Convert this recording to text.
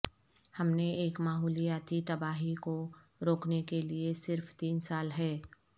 ہم نے ایک ماحولیاتی تباہی کو روکنے کے لئے صرف تین سال ہے